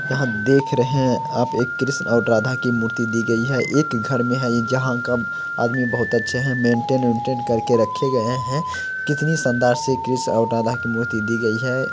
यहाँ देख रहे हैं आप एक कृष्ण और राधा की मूर्ति दी गई है एक घर में है ये जहाँ का आदमी बहोत अच्छे हैं मेंटेन वेंटेन करके रखे गए हैं। कितनी शानदार से कृष्ण और राधा की मूर्ति दी गई है।